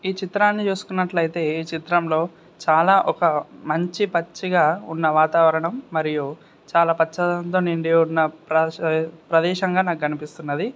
ఈ చిత్రాన్ని చూస్తునట్లేతే ఈ చిత్రం లో చాల ఒక మంచి పచ్చిగా వాతావరణం మరియు చాల పచ్చదనంతో నిండియున్న ప్రస ప్రదేశం గ నాకు కనిపిస్తున్నది.